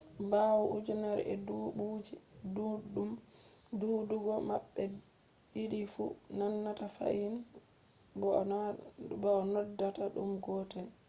bawo ujunere ee dubuuje duddum duudugo mabbe diidifu nandata fahin bo a noddaata dum gotel